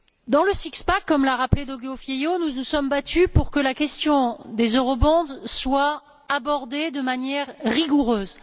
Dans le six pack comme l'a rappelé Diogo Feio, nous nous sommes battus pour que la question des eurobonds soit abordée de manière rigoureuse.